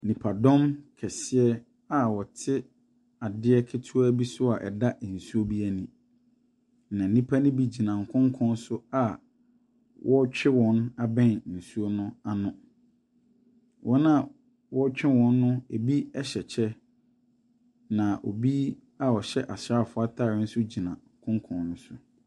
Akwantufoɔ abibifoɔ bebree na aboa wɔn ano a wɔn abopue mpoano yo. Na aborɔfo nwɔtwe bi nso ɛrehyia wɔn wɔ po n’ano.